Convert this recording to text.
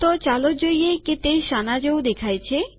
તો ચાલો જોઈએ તે શાના જેવું દેખાય છે